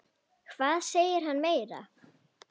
Hvað segir hann meira?